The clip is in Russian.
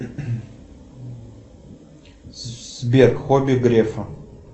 сбер хобби грефа